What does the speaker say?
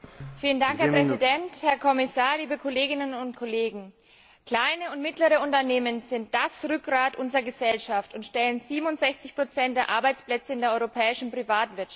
Herr Präsident, Herr Kommissar, liebe Kolleginnen und Kollegen! Kleine und mittlere Unternehmen sind das Rückgrat unserer Gesellschaft und stellen 67 der Arbeitsplätze in der europäischen Privatwirtschaft.